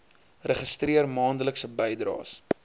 registreer maandelikse bydraes